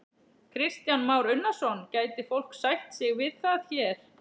Kristján Már Unnarsson: Gæti fólk sætt sig við það hér?